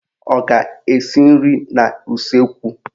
Ọ ga-esi nri n'useekwu?